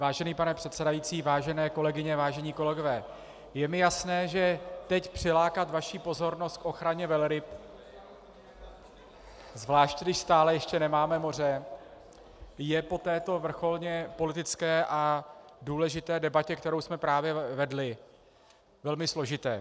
Vážený pane předsedající, vážené kolegyně, vážení kolegové, je mi jasné, že teď přilákat vaši pozornost k ochraně velryb, zvláště když stále ještě nemáme moře, je po této vrcholně politické a důležité debatě, kterou jsme právě vedli, velmi složité.